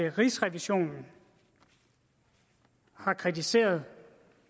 at rigsrevisionen har kritiseret